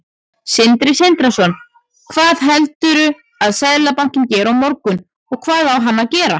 Sindri Sindrason: Hvað heldurðu að Seðlabankinn geri á morgun, og hvað á hann að gera?